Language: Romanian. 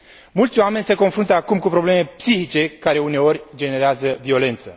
Mulți oameni se confruntă acum cu probleme psihice care uneori generează violență.